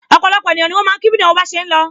Opolopo ènìyàn ni wọn ma ki bi ìnáwó bá ṣe ń lọ.